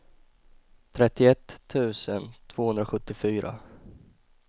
trettioett tusen tvåhundrasjuttiofyra